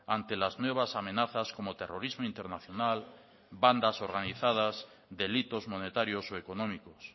ante las nuevas amenazas como terrorismo internacional bandas organizadas delitos monetarios o económicos